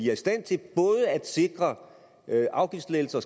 er i stand til både at sikre afgiftslettelser